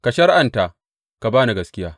Ka shari’anta, ka ba ni gaskiya!